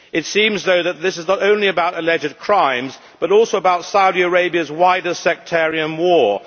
It seems, though, that this is not only about alleged crimes, but also about Saudi Arabia's wider sectarian war.